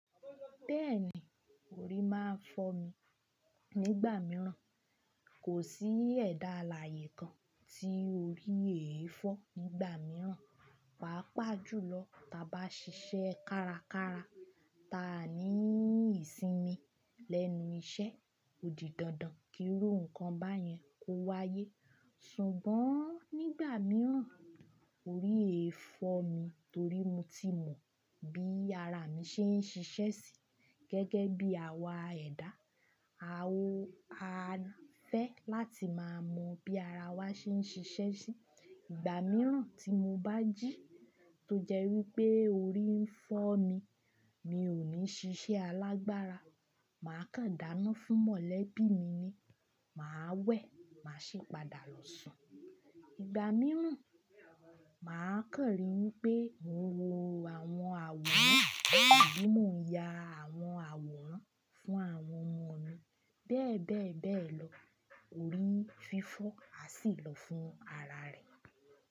Bẹ́ẹ̀ni, orí máa ń fọ́ mi nígbà mìíràn, kò sí ẹ̀dá alààyè kan tí orí eé fọ́ nígbà mìíràn. Pàápàá jùlọ ta bá ṣiṣẹ́ kárakára, ta ni ìsinmi lẹ́nu iṣẹ́, odidandan kí rú nǹkan báyẹn kó wáyé. Ṣùgbọ́n nígbà mìíràn orí e fọ́ mi torí mo ti mọ bí ara mi ṣe ń ṣiṣẹ́ sí gẹ́gẹ́ bí àwa ẹ̀dá. A ò há fẹ́ láti máa mọ bí ara wa ṣe ń ṣiṣẹ́ sí. Ìgbà mìíràn tí mo bá jí, tó jẹ́ wí pé orí ń fọ́ mi, mi ò ní ṣiṣẹ́ alágbára. Màá kàdáná fún mọ̀lẹ́bí mi ni, màá wẹ̀, màá ṣe padà lọ sùn. Ìgbà mìíràn, màá kan ri wipé mo wo àwọn àwòrán àbí mo ya àwọn àwòrán fún àwọn ọmọ mi. Bẹ́ẹ̀ bẹ́ẹ̀ bẹ́ẹ̀ lọ, orí fi fọ́ á sì lọ fún ara rẹ̀.